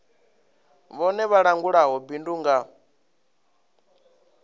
vhone vha langulaho bindu nga